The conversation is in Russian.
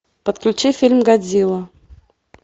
подключи фильм годзилла